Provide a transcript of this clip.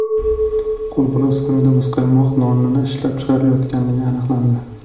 qo‘lbola uskunada muzqaymoq noni ishlab chiqarayotganligi aniqlandi.